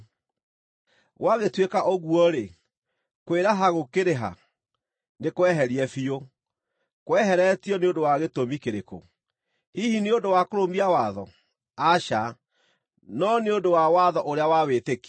Gwagĩtuĩka ũguo-rĩ, kwĩraha gũkĩrĩ ha? Nĩ kweherie biũ. Kweheretio nĩ ũndũ wa gĩtũmi kĩrĩkũ? Hihi nĩ ũndũ wa kũrũmia watho? Aca, no nĩ ũndũ wa watho ũrĩa wa wĩtĩkio.